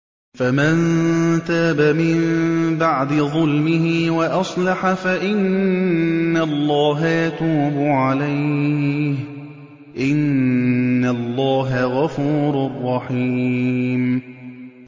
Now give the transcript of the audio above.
فَمَن تَابَ مِن بَعْدِ ظُلْمِهِ وَأَصْلَحَ فَإِنَّ اللَّهَ يَتُوبُ عَلَيْهِ ۗ إِنَّ اللَّهَ غَفُورٌ رَّحِيمٌ